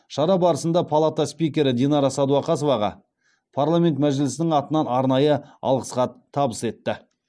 шара барысында палата спикері динара сәдуақасоваға парламент мәжілісінің атынан арнайы алғыс хат табыс етті